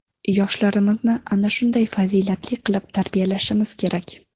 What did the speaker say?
Yoshlarimizni ana shunday fazilatli qilib tarbiyalashimiz kerak.